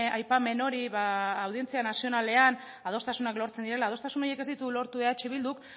aipamen hori audientzia nazionalean adostasunak lortzen direla adostasun horiek ez ditu lortu eh bilduk